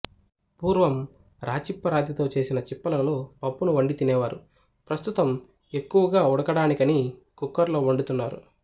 పూర్వం రాచిప్ప రాతితో చేసిన చిప్ప లలో పప్పును వండి తినేవారు ప్రస్తుతం ఎక్కువగా ఉడకడానికని కుక్కర్ లో వండుతున్నారు